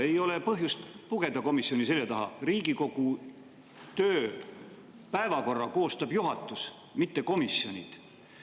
Ei ole põhjust pugeda komisjoni selja taha, Riigikogu päevakorra koostab juhatus, mitte komisjonid.